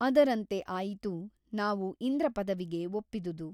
ಅದರಂತೆ ಆಯಿತು ನಾವು ಇಂದ್ರಪದವಿಗೆ ಒಪ್ಪಿದುದು.